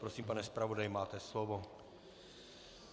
Prosím, pane zpravodaji, máte slovo.